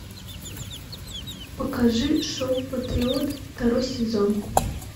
покажи шоу патриот второй сезон